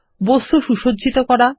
বস্তুগুলি সুসজ্জিত করা